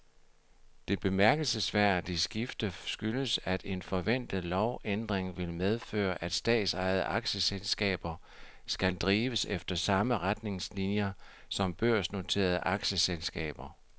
Det bemærkelsesværdige skifte skyldes, at en forventet lovændring vil medføre, at statsejede aktieselskaber skal drives efter samme retningslinier som børsnoterede aktieselskaber.